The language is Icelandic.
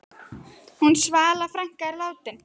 Hún Svala frænka er látin.